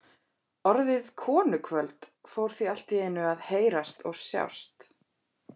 Orðið konukvöld fór því allt í einu að heyrast og sjást.